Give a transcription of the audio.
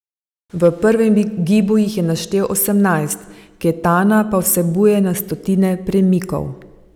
V prvem gibu jih je naštel osemnajst, ketana pa vsebuje na stotine premikov.